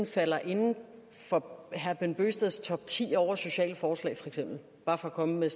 falder inden for herre bent bøgsteds topti over sociale forslag bare for at komme med